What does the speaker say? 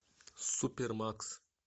супермакс